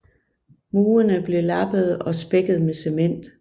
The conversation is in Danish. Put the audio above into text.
Murene blev lappede og spækket med cement